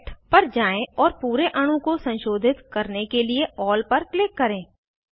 select पर जाएँ और पूरे अणु को संशोधित करने के लिए अल्ल पर क्लिक करें